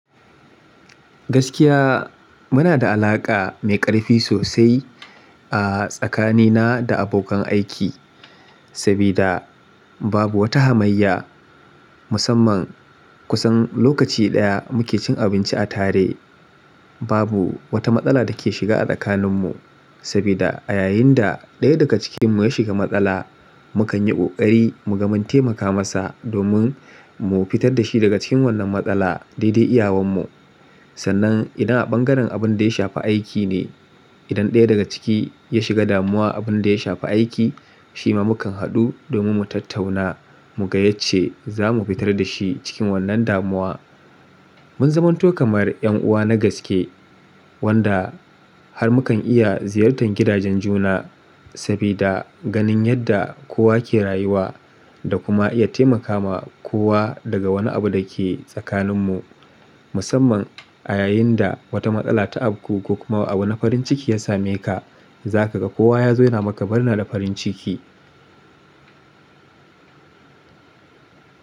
Gaskiya muna da alaƙa mai ƙarfi sosai a tsakanina da abokan aiki, sabida babu wata hamayya musamman kusan lokaci ɗaya muke cin abinci a tare. Babu wata matsala da ke shiga a tsakaninmu, sabida a yayinda ɗaya daga cikinmu ya shiga matsala, mukan yi ƙoƙari mu ga mun taimaka masa domin mu fitar da shi daga cikin wannan matsala daidai iyawanmu. Sannan idan a bangaren abin da ya shafi aiki ne, idan ɗaya daga ciki ya shiga damuwa, abin da ya shafi aiki, shi ma mukan haɗu domin mu tattauna mu ga yacce zamu fitar da shi cikin wannan damuwa. Mun zamanto kamar 'yan'uwa na gaske wanda har mukan iya ziyartar gidajen juna sabida ganin yadda kowa ke rayuwa da kuma iya taimaka ma kowa daga wani abu da ke tsakaninmu. Musamman a yayinda wata matsala ta afku ko kuma abu na farin ciki ya same ka, za kaga kowa ya zo yana maka murna da farin ciki.